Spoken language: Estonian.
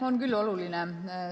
On küll oluline.